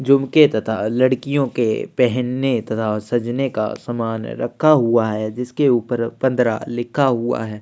झुमके तथा लड़कियों के पहनने तथा सजने का सामान रखा हुआ है जिसके ऊपर पन्द्र लिखा हुआ है।